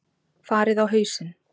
Farið á hausinn!